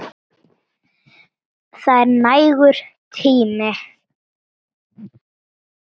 Það er nægur tími.